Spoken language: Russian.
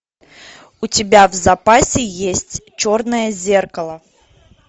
у тебя в запасе есть черное зеркало